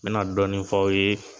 N bɛna dɔɔnin fɔ aw ye.